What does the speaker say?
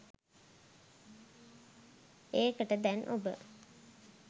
ඒකට දැන් ඔබ